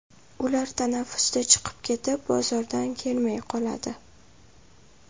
Ular tanaffusda chiqib ketib, bozordan kelmay qoladi.